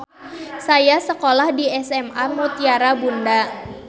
Saya sekolah di SMA Mutiara Bunda.